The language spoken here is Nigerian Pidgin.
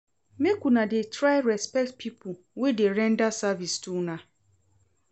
Make una dey try respect pipo wey dey render service to una.